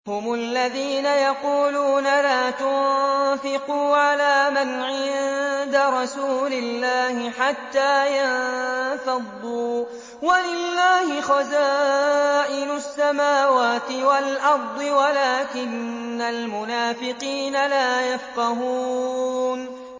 هُمُ الَّذِينَ يَقُولُونَ لَا تُنفِقُوا عَلَىٰ مَنْ عِندَ رَسُولِ اللَّهِ حَتَّىٰ يَنفَضُّوا ۗ وَلِلَّهِ خَزَائِنُ السَّمَاوَاتِ وَالْأَرْضِ وَلَٰكِنَّ الْمُنَافِقِينَ لَا يَفْقَهُونَ